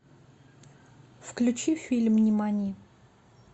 включи фильм нимани